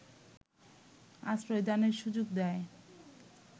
আশ্রয়দানের সুযোগ দেয়